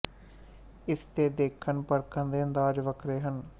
ਇਸ ਤੇ ਦੇਖਣ ਪਰਖਣ ਦੇ ਅੰਦਾਜ਼ ਵੱਖਰੇ ਹਨ